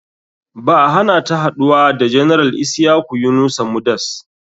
Ba a hanata haɗuwa da general isyaku yunusa mudas.